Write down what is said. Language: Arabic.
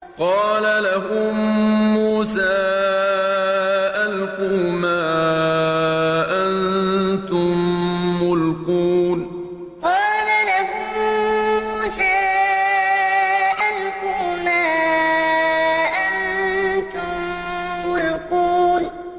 قَالَ لَهُم مُّوسَىٰ أَلْقُوا مَا أَنتُم مُّلْقُونَ قَالَ لَهُم مُّوسَىٰ أَلْقُوا مَا أَنتُم مُّلْقُونَ